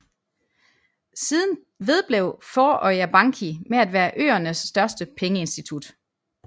Siden vedblev Føroya Banki med at være øernes største pengeinstitut